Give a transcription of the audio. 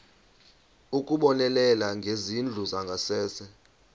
ukubonelela ngezindlu zangasese